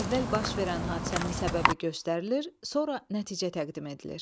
Əvvəl baş verən hadisənin səbəbi göstərilir, sonra nəticə təqdim edilir.